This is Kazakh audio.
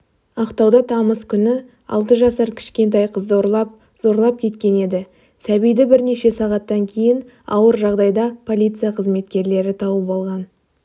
ақтауда тамыз күні алты жасар кішкентай қызды ұрлап зорлап кеткен еді сәбиді бірнеше сағаттан кейін ауыр жағдайда полиция қызметкерлері тауып алған